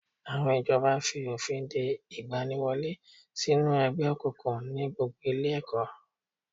Àwọn ìjọba fi òfin de ìgbaniwọlé sínú ẹgbẹ́ òkùnkùn ní gbogbo ilé ẹ̀kọ́